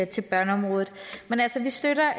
til børneområdet men altså vi støtter